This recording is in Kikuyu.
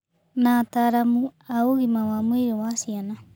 Na ataaramu a ũgima wa mwĩrĩ wa ciana